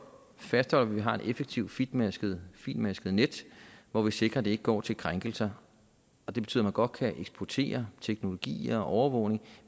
fastholder vi har et effektivt fintmasket fintmasket net hvor vi sikrer det ikke går til krænkelser og det betyder at man godt kan eksportere teknologier til overvågning